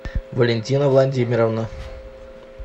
валентина владимировна